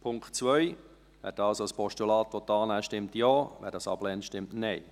Wer den Punkt 2 als Postulat annehmen will, stimmt Ja, wer dies ablehnt, stimmt Nein.